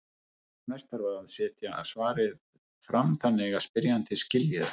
Næst þarf að setja svarið fram þannig að spyrjandinn skilji það.